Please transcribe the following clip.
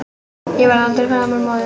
Ég verð aldrei framar móðir.